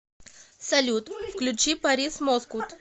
салют включи парис москут